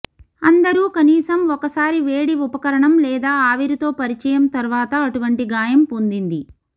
అందరూ కనీసం ఒకసారి వేడి ఉపకరణం లేదా ఆవిరితో పరిచయం తర్వాత అటువంటి గాయం పొందింది